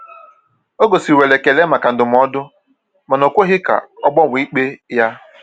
Ọ gosiwere ekele maka ndụmọdụ, mana o kweghị ka ọ gbanwee ikpe ya.